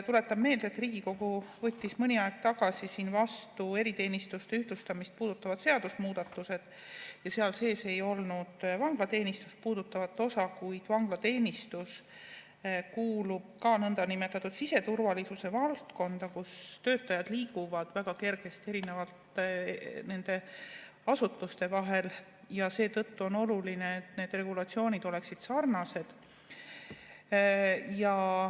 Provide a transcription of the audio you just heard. Tuletan meelde, et Riigikogu võttis mõni aeg tagasi vastu eriteenistuste ühtlustamist puudutavad seadusemuudatused, aga seal sees ei olnud vanglateenistust puudutavat osa, kuid vanglateenistus kuulub ka nõndanimetatud siseturvalisuse valdkonda, kus töötajad liiguvad väga kergesti erinevate asutuste vahel, ja seetõttu on oluline, et need regulatsioonid oleksid sarnased.